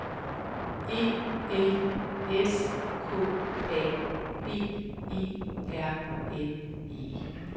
E L S K A B E R N E